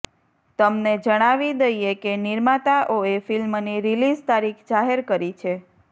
તમને જણાવી દઈએ કે નિર્માતાઓએ ફિલ્મની રિલીઝ તારીખ જાહેર કરી છે